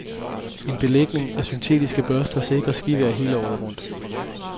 En belægning af syntetiske børster sikrer skivejr hele året rundt.